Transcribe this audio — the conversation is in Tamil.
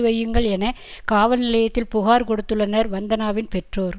வையுங்கள் என காவல் நிலையத்தில் புகார் கொடுத்துள்ளனர் வந்தனாவின் பெற்றோர்